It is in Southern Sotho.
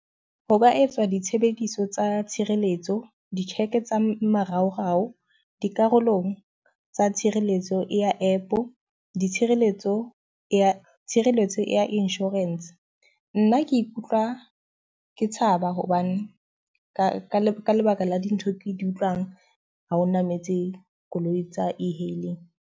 Ho ka etswa ditshebediso tsa tshireletso, di-cheque tsa maraorao, dikarolong tsa tshireletso ya app, ditshireletso ya tshireletso etse ya insurance. Nna ke ikutlwa ke tshaba hobane ka ka lebaka lebaka la dintho di utlwang ha ho nametse koloi tsa e-hailing.